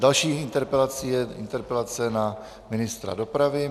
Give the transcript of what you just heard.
Další interpelací je interpelace na ministra dopravy.